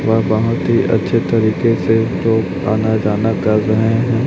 वह बहोत ही अच्छे तरीके से जो आना जाना कर रहे हैं।